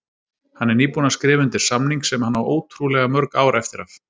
Hann er nýbúinn að skrifa undir samning sem hann á ótrúlega mörg ár eftir af